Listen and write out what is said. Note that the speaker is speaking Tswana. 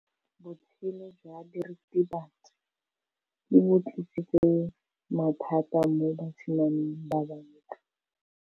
Botshelo jwa diritibatsi ke bo tlisitse mathata mo basimaneng ba bantsi.